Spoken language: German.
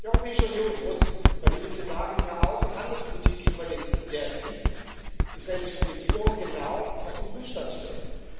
Die Europäische Union muss bei diesen Szenarien ihre Außen und Handelspolitik gegenüber der israelischen Regierung genau auf den Prüfstand stellen.